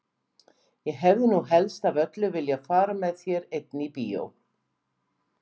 Ég hefði nú helst af öllu viljað fara með þér einni í bíó!